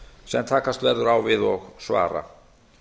sem takast verður á við og svara